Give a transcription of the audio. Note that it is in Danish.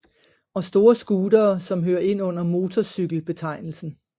Og store scootere som hører ind under motorcykel betegnelsen